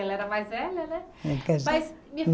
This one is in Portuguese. Ela era mais velha, né? É Mas